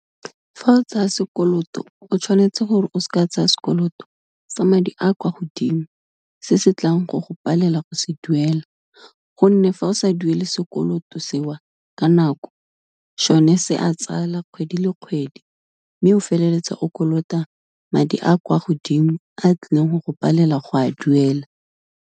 Fa o tsaya sekoloto o tshwanetse gore o se ka tsaya sekoloto sa madi a kwa godimo, se se tlang go go palela go se duela, gonne fa o sa duele sekoloto se o ka nako, sone se a tsala kgwedi le kgwedi mme, o feleletsa o kolota madi a kwa godimo a tlileng go go palela go a duela.